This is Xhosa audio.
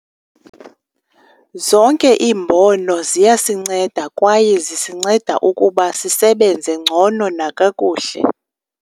Zonke iimbono ziyasinceda kwaye zisinceda ukuba sisebenze ngcono nakakuhle.